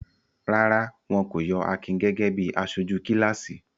Rárá, wọn kò yọ Akin gẹ́gẹ́ bí aṣojú kíláàsì.